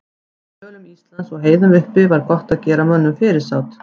Í dölum Íslands og á heiðum uppi var gott að gera mönnum fyrirsát.